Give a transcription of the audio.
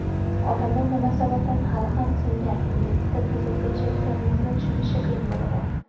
odamlar nima sababdan hali ham "singan" ingliz tilida so‘zlashayotganimizni tushunishi qiyin bo‘ladi.